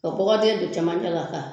ka bɔgɔ den don camancɛ la ka